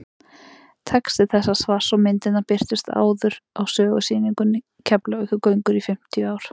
texti þessa svars og myndirnar birtust áður á sögusýningunni keflavíkurgöngur í fimmtíu ár